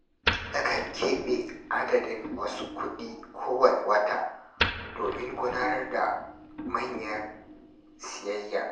Nakan keɓe adadin wasu kuɗi kowanne wata domin gudanar da manyan sayayya.